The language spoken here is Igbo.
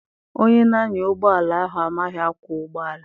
Onye na-anya ụgbọala ahụ amaghị akwọ ụgbọala.